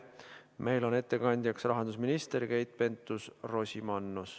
Meil on ettekandjaks rahandusminister Keit Pentus-Rosimannus.